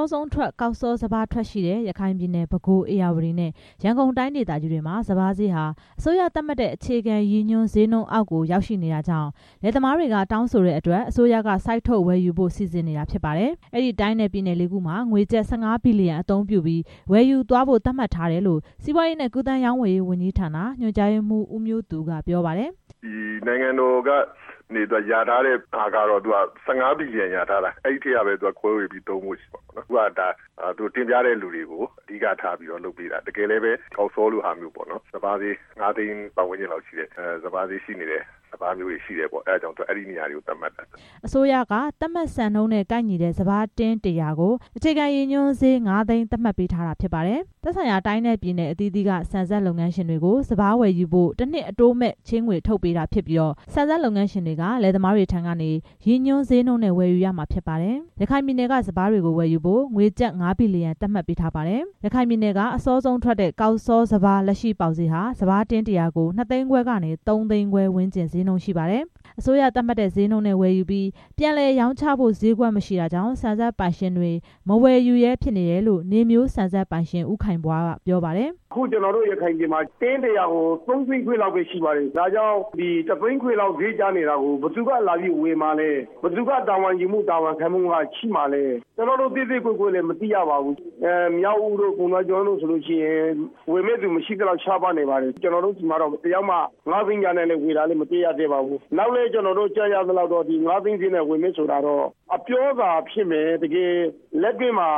ောဆုံးထွက် ကောက်စောစပါး ထွက်ရှိတဲ့ ရခိုင်ပြည်နယ်၊ ပဲခူး၊ ဧရာဝတီနဲ့ ရန်ကုန်တိုင်းဒေသကြီးတွေမှာ စပါးဈေးဟာ အစိုးရသတ်မှတ်တဲ့ အခြေခံရည်ညွှန်း ဈေးနှုန်းအောက်ကို ရောက်ရှိနေတာကြောင့် လယ်သမားတွေက တောင်းဆိုတဲ့အတွက် အစိုးရက စိုက်ထုတ်ဝယ်ယူဖို့ စီစဉ်နေတာဖြစ်ပါတယ်။ အဲဒီတိုင်းနဲ့ ပြည်နယ် လေးခုမှာ ငွေကျပ် ၁၅ ဘီလီယံအသုံးပြုပြီး ဝယ်ယူသွားဖို့ သတ်မှတ်ထားတယ်လို့ စီးပွားရေးနဲ့ ကူးသန်းရောင်းဝယ်ရေးဝန်ကြီးဌာန ညွှန်ကြားရေးမှူး ဦးမျိုးသူက ပြောပါတယ်။ "နိုင်ငံတော်က လျာထားတာကတော့ ၁၅ ဘီလီယံ လျာထားတယ် အဲထဲကနေပဲ ခွဲဝေသုံးမယ်။ အခုဒါက တင်ပြတဲ့သူတွေကို အဓိကထားပြီး လုပ်ပေးတာ တကယ်လည်းပဲ ကောက်စောလိုဟာမျိုး စပါးဈေး ငါးသိန်း ဝန်းကျင်လောက်ရှိတဲ့ စပါးမျိုးရှိတယ် အဲဒါကြောင့် အဲနေရာတွေ သတ်မှတ်တာပါ" အစိုးရက သတ်မှတ်စံနှုန်းနဲ့ ကိုက်ညီတဲ့စပါး တင်း ၁၀၀ ကို အခြေခံရည်ညွှန်းဈေး ငါးသိန်း သတ်မှတ်ပေးထား တာဖြစ်ပါတယ်။ သက်ဆိုင်ရာ တိုင်းနဲ့ပြည်နယ်အသီးသီးက ဆန်စက်လုပ်ငန်းရှင်တွေကို စပါးဝယ်ယူဖို့ တစ်နှစ် အတိုးမဲ့ ချေးငွေ ထုတ်ချေးပေးတာဖြစ်ပြီး ဆန်စက်လုပ်ငန်းရှင်တွေက လယ်သမားတွေထံကနေ ရည်ညွှန်ဈေးနှုန်းနဲ့ ဝယ်ယူရမှာ ဖြစ်ပါတယ်။ ရခိုင်ပြည်နယ်က စပါးတွေကိုဝယ်ယူဖို့ ငွေကျပ် ငါးဘီလီယံ သတ်မှတ်ပေးထားပါတယ်။ ရခိုင်ပြည်နယ်က အစောဆုံးထွက်ကောက်စောစပါး လက်ရှိပေါက်ဈေးဟာ စပါးတင်း ၁၀၀ ကို နှစ်သိန်းခွဲကနေ သုံးသိန်းခွဲဝန်းကျင် ဈေးနှုန်းရှိပါတယ်။ အစိုးရသတ်မှတ်တဲ့ဈေးနှုန်းနဲ့ ဝယ်ယူပြီး ပြန်လည်ရောင်းချဖို့ ဈေးကွက်မရှိတာကြောင့် ဆန်စက်ပိုင်ရှင်တွေ မဝယ်ယူရဲ ဖြစ်နေတယ်လို့ နေမျိုးဆန်စက်ပိုင်ရှင် ဦးခိုင်ဖွားက ပြောပါတယ်။ "ကျွန်တော်တို့ ရခိုင်ပြည်နယ်မှာ တင်း ၁၀၀ ကို သုံးသိန်းခွဲလောက်ပဲ ရှိပါတယ်။ ဒီတစ်သိန်းခွဲလောက် ဈေးကျနေတာကို ဘယ်သူကလာဝယ်မှာလဲ ဘယ်သူက တာဝန်ယူမှု တာဝန်ခံမှုရှိမှာလဲ ကျွန်တော်တို့ သဲသဲကွဲကွဲလည်း မသိရပါဘူး။ မြောက်ဦးတို့ ပုဏ္ဍားကျွန်းတို့ ဆိုလိုရှိရင် ဝယ်မယ့်သူမရှိသလောက် ရှားပါးနေပါတယ်။ ကျွန်တော်တို့ဆီမှာ သိရသလောက် ငါးသိန်းနဲ့ ဝယ်တာလည်း မတွေ့ရသေးပါဘူး။ နောက်လည်း ကြားရသလောက် ငါးသိန်းဈေးနဲ့ ဝယ်မယ်ဆိုတာ ပြောသာဖြစ်မယ် တကယ်လက်တွေ့မှာ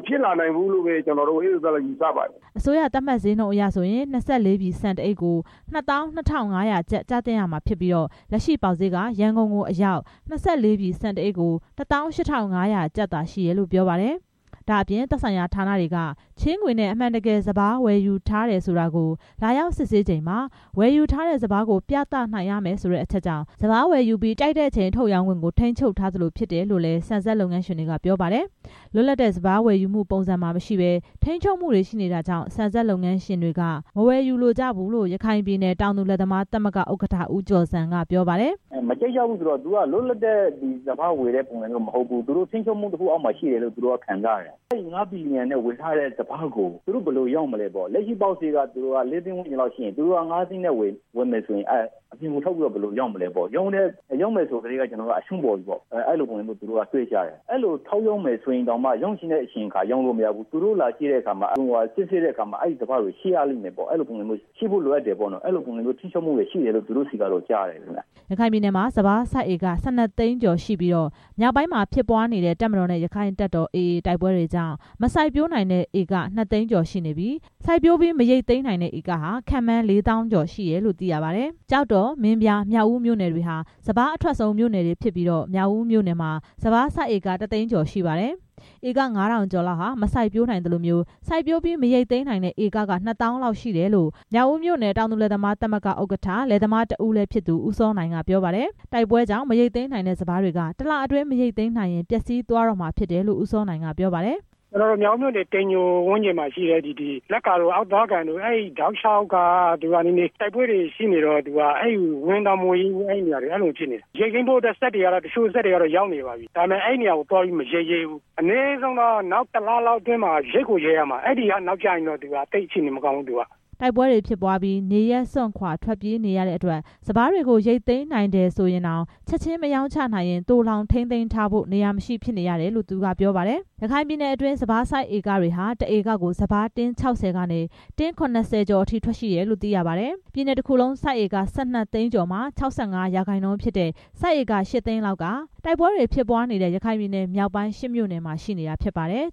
မဖြစ်လာနိုင်ဘူးလို့ ယူဆပါတယ်" အစိုးရသတ်မှတ်ဈေးနှုန်းအရဆိုရင် ၂၄ ပြည် ဆန်တစ်အိတ်ကို ၂၂၅၀၀ ကျပ် ကျသင့်မှာဖြစ်ပြီး လက်ရှိ ပေါက်ဈေးက ရန်ကုန်အရောက် ၂၄ ပြည်ဆန်တစ်အိတ်ကို ၁၈၅၀၀ ကျပ်သာရှိတယ်လို့ ပြောပါတယ်။ ဒါ့အပြင် သက်ဆိုင်ရာဌာနတွေက ချေးငွေနဲ့အမှန်တကယ် စပါးဝယ်ယူထားတယ်ဆိုတာကို လာရောက်စစ်ဆေး ချိန်မှာ ဝယ်ယူထားတဲ့ စပါးကို ပြသနိုင်ရမယ်ဆိုတဲ့အချက်ကြောင့် စပါးကိုဝယ်ယူပြီး ကြိုက်တဲ့အချိန် ထုတ်ရောင်းချခွင့်ကို ထိန်းချုပ်ထားသလိုဖြစ်နေတယ်လို့လည်း ဆန်စက်လုပ်ငန်းရှင်တွေက ပြောပါတယ်။ လွတ်လပ်တဲ့စပါးဝယ်ယူမှုပုံစံမှာမရှိပဲ ထိန်းချုပ်မှုတွေရှိနေတာကြောင့် ဆန်စက်လုပ်ငန်းရှင်တွေက မဝယ်ယူလိုကြဘူးလို့ ရခိုင်ပြည်နယ် တောင်သူလယ်သမား သမဂ္ဂ ဥက္ကဋ္ဌ ဦးကျော်ဇံက ပြောပါတယ်။ "သူက လွတ်လပ်တဲ့ စပါးဝယ်တဲ့ပုံစံမျိုးမဟုတ်ဘူး။ ထိန်းချူပ်မှုတစ်ခုအောက်မှာရှိတယ်လို့ သူတို့က ခံစားရတယ်။ အဲဒီ ငါးဘီလီယံနဲ့ ဝယ်ထားတဲ့စပါးကို သူတို့ဘယ်လိုရောင်းမလဲပေါ့။ လက်ရှိပေါက်ဈေးက လေးသိန်းဝန်းကျင်ရှိရင် သူတို့က ငါးသိန်းနဲ့ ဝယ်မယ်ဆိုရင် အပြင်ကိုထုတ်ပြီး ဘယ်လိုရောင်းမလဲပေါ့။ ရောင်းမယ်ဆိုကထဲက အရှုံးပေါပြီပေါ့ အဲလိုပုံစံမျိုးတွေးကြတယ်။ အဲလိုထုတ်ရောင်းမယ်ဆိုရင်လည်း ရောင်းချင်တဲ့အချိန်မှာ ရောင်းလို့မရဘူး သူတို့လာကြည့်တဲ့အခါမှာ စစ်ဆေးတဲ့အခါမှာ အဲစပါးတွေ ရှိရမယ်ပေါ့ အဲလိုပုံစံမျိုး ထိန်းချုပ်မှုတွေရှိတယ်လို့ သူတို့ဆီက ကြားရတယ်" ရခိုင်ပြည်နယ်မှာ စပါးစိုက်ဧက ၁၂ သိန်းကျော်ရှိပြီး မြောက်ပိုင်းမှာဖြစ်ပွားနေတဲ့ တပ်မတော်နဲ့ ရက္ခိုင့်တပ်တော် AA တို့တိုက်ပွဲတွေကြောင့် မစိုက်ပျိုးနိုင်တဲ့ဧက နှစ်သိန်းကျော် ရှိနေပြီး စိုက်ပျိုးပြီးမရိတ်သိမ်းနိုင်တဲ့ ဧကဟာ ခန့်မှန်း လေးသောင်းကျော်ရှိတယ်လို့ သိရပါတယ်။ ကျောက်တော်၊ မင်းပြား၊ မြောက်ဦးမြို့နယ်တွေဟာ စပါးအထွက်ဆုံး မြို့နယ်တွေဖြစ်ပြီး မြောက်ဦးမြို့နယ်မှာ စပါးစိုက်ဧက တစ်သိန်းကျော်ရှိပါတယ်။ ဧက ၅၀၀၀ ကျော်လောက်ဟာ မစိုက်ပျိုးနိုင်သလို စိုက်ပျိုးပြီး မရိတ်သိမ်းနိုင်တဲ့ ဧက ၂သောင်းကျော် ရှိတယ်လို့ မြောက်ဦးမြို့နယ်တောင်သူလယ်သမား သမဂ္ဂ ဥက္ကဋ္ဌ လယ်သမား တစ်ဦးလည်းဖြစ်သူ ဦးစောနိုင်က ပြောပါတယ်။ တိုက်ပွဲကြောင့် မရိတ်သိမ်းနိုင်သေးတဲ့စပါးတွေက တစ်လအတွင်း မရိတ်သိမ်းနိုင်ရင် ပျက်စီးသွားတော့မှာ ဖြစ်တယ်လို့ ဦးစောနိုင်က ပြောပါတယ်။ "မြောက်ဦးမြို့နယ် တိမ်ညိုကျေးရွာမှာရှိတဲ့ လက္ကာတို့ အောက်သွားကန်တို့ အဲတောက်လျှောက်က တိုက်ပွဲတွေ ရှိနေတော့ ဝင်တောင်မဝင်ရဲဘူး အဲ့လိုတွေရှိနေတယ်။ ရိတ်သိမ်းဖို့အတွက် တချို့စက်တွေကတော့ ရောက်နေပါပြီ။ ဒါပေမဲ့ အဲ့နေရာတွေကိုသွားပြီး မရိတ်ရဲဘူး။ အနည်းဆုံးတော့ နောက်တစ်လ အတွင်းမှာ ရိတ်ကိုရိတ်ရမှာ အဲ့ဒီထက်နောက်ကျရင် အခြေအနေမကောင်းဘူး" တိုက်ပွဲတွေဖြစ်ပွားပြီး နေရပ်စွန့်ခွာထွက်ပြေးနေရတဲ့အတွက် စပါးတွေကို ရိတ်သိမ်းနိုင်တယ်ဆိုရင်တောင် ချက်ချင်းမရောင်းချနိုင်ရင် သိုလှောင်ထိမ်းသိမ်းဖို့ နေရာမရှိဖြစ်နေရတယ်လို့ သူက ပြောပါတယ်။ ရခိုင်ပြည်နယ်အတွင်း စပါးစိုက်ဧကတွေဟာ တစ်ဧကကို စပါး တင်း ၆၀ ကနေ ၇၀ ကျော်အထိ ထွက်ရှိတယ်လို့ သိရပါတယ်။ ပြည်နယ်တစ်ခုလုံး စိုက်ဧက ၁၂ သိန်းကျော်မှာ ၆၅ ရာခိုင်နှုန်းဖြစ်တဲ့ စိုက်ဧက ရှစ်သိန်းလောက်က တိုက်ပွဲတွေဖြစ်ပွားနေတဲ့ ရခိုင်ပြည်နယ် မြောက်ပိုင်း ရှစ်မြို့နယ်မှာရှိတာဖြစ်ပါတယ်။